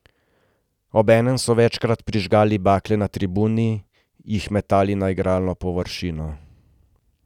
Obenem so večkrat prižigali bakle na tribuni, jih metali na igralno površino.